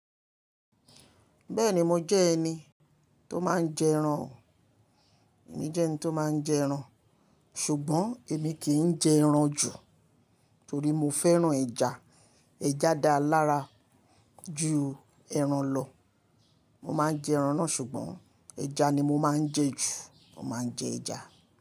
Bẹ́ẹ̀ni mo jẹ́ ẹni tó máa ń jẹ ẹran, èmi jẹ́ ẹni tó máa ń jẹ ẹran, ṣùgbọ́n èmi kì í n jẹ ẹran jù torí mo fẹ́ràn ẹja. Ẹja dáa lára ju ẹran lọ. Mo máa ń jẹ ẹran náà ṣùgbọ́n ẹja ni mo máa ń jẹ jù. Mo máa ń jẹ ẹja.